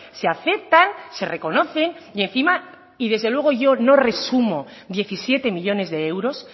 se aceptan se reconocen y encima y desde luego yo no resumo diecisiete millónes de euros